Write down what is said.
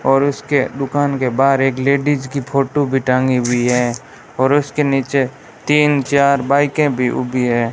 और उसके दुकान के बाहर एक लेडिस की फोटो भी टंगी हुई है और उसके नीचे तीन चार बाइकें भी उगी है।